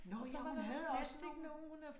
Nåh jo, hun havde også nogen